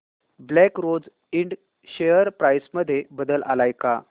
black Rose Ind share price मध्ये बदल आलाय का